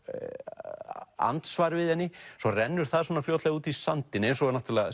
andsvar við henni svo renndur það fljótlega út í sandinn eins og náttúrulega